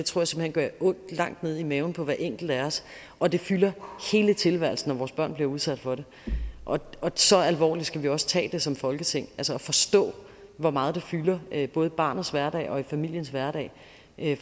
gør ondt langt ned i maven på hver enkelt af os og det fylder hele tilværelsen når vores børn bliver udsat for det og så alvorligt skal vi også tage det som folketing altså forstå hvor meget det fylder både i barnets hverdag og i familiens hverdag